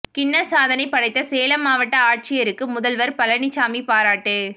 Guinness சாதனை படைத்த சேலம் மாவட்ட ஆட்சியருக்கு முதல்வர் பழனிசாமி பாராட்டு